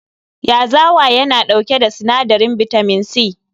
Yazawa yana dauke da sinadarin bitamin C.